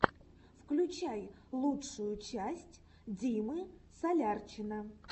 включай лучшую часть димы солярчина